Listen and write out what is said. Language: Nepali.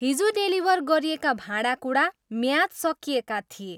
हिजो डेलिभर गरिएका भाँडाकुँडा म्याद सकिएका थिए।